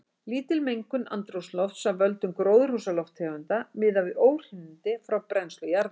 Lítil mengun andrúmslofts af völdum gróðurhúsalofttegunda miðað við óhreinindi frá brennslu jarðefna.